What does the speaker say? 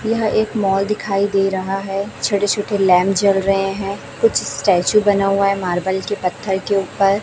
यह एक मॉल दिखाई दे रहा है छोटे छोटे लैंप जल रहे हैं कुछ स्टेचू बना हुआ है मार्बल के पत्थर के ऊपर--